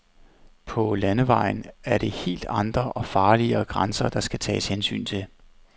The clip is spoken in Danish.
På landevejen er det helt andre, og farligere, grænser, der skal tages hensyn til.